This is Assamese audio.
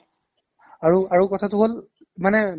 আৰু আৰু কথাটো হ'ল মানে